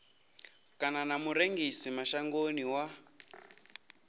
kana na murengisi mashangoni wa